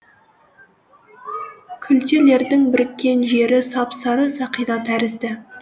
күлтелердің біріккен жері сап сары сақина тәрізді